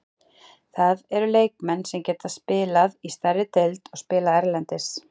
Það eru leikmenn sem geta spilaði stærri deild og spilað erlendis.